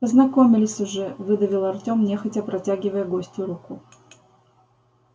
познакомились уже выдавил артём нехотя протягивая гостю руку